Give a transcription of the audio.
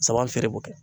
Saba feere b'o kɛ